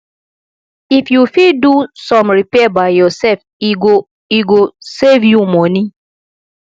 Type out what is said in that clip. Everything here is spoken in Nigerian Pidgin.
if you fit do some repair by yourself e go e go save you money